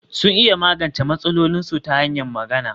Sun iya magance matsalolinsu ta hanyar magana